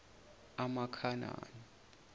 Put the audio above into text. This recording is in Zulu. amakhanani